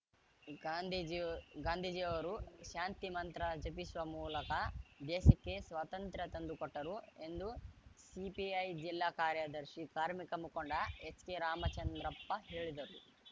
ಗಾಂಧೀಜಿಯ ಗಾಂಧೀಜಿಯವರು ಶಾಂತಿ ಮಂತ್ರ ಜಪಿಸುವ ಮೂಲಕ ದೇಶಕ್ಕೆ ಸ್ವಾತಂತ್ರ್ಯ ತಂದು ಕೊಟ್ಟರು ಎಂದು ಸಿಪಿಐ ಜಿಲ್ಲಾ ಕಾರ್ಯದರ್ಶಿ ಕಾರ್ಮಿಕ ಮುಖಂಡ ಎಚ್‌ಕೆರಾಮಚಂದ್ರಪ್ಪ ಹೇಳಿದರು